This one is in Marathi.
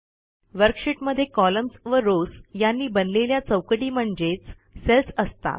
वर्कशीटमध्ये कॉलम्न्स व रॉव्स यांनी बनलेल्या चौकटी म्हणजेच सेल्स असतात